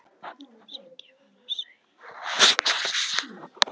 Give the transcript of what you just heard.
Siggi var að segja reynslusögur af sjálfum sér.